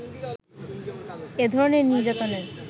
এধরনের নির্যাতনের